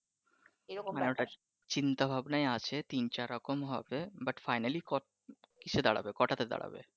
ঐটা চিন্তা ভাবনাই আছে তিন চার রকম হবে but finally কত কিসে দাঁড়াবে কয়টাতে দাঁড়াবে?